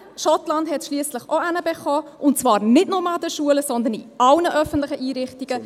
Schottland hat es schliesslich auch hingekriegt, und zwar nicht nur an den Schulen, sondern in allen öffentlichen Einrichtungen.